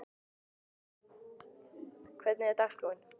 Abela, hvernig er dagskráin?